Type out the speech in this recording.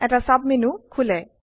এটা সাবমেনু খোলে